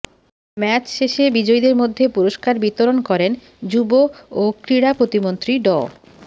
match শেষে বিজয়ীদের মধ্যে পুরস্কার বিতরণ করেন যুব ও ক্রীড়া প্রতিমন্ত্রী ড